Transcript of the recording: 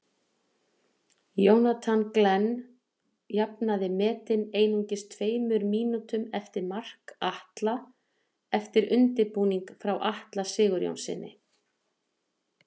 Jonathan Glenn jafnaði metin einungis tveimur mínútum eftir mark Atla eftir undirbúning frá Atla Sigurjónssyni.